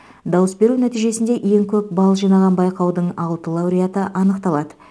дауыс беру нәтижесінде ең көп балл жинаған байқаудың алты лауреаты анықталады